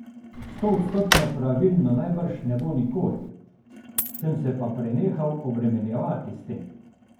Stoodstotno pravilno najbrž ne bo nikoli, sem se pa prenehal obremenjevati s tem.